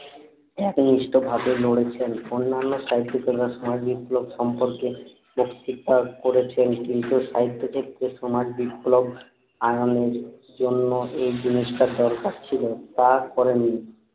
ভাতের ইস্টটা ভাতে লড়েছেন অন্যান্য সাহিত্যিকরা সমাজ বিপ্লব সম্পর্কে প্রতিজ্ঞা করেছেন কিন্তু সাহিত্য ক্ষেত্রে সমাজ বিপ্লব আয়নের জন্য এই জিনিসটা দরকার ছিলো তা করেননি